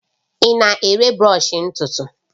Ị na-ere brọsh ntutu?